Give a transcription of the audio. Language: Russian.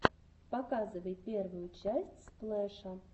показывай первую часть сплэша